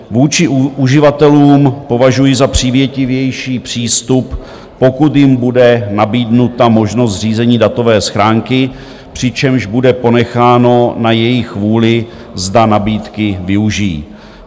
Vůči uživatelům považuji za přívětivější přístup, pokud jim bude nabídnuta možnost zřízení datové schránky, přičemž bude ponecháno na jejich vůli, zda nabídky využijí.